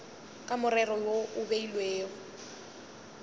ka morero wo o beilwego